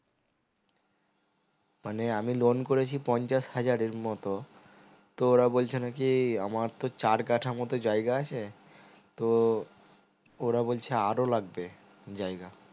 মানে আমি loan করেছি পঞ্চাশ হাজারের মতো তো ওরা বলছে নাকি আমার তো চার কাঠা মতো জায়গা আছে তো ওরা বলছে আরো লাগবে জায়গা